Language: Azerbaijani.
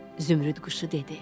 Zümrüd quşu dedi: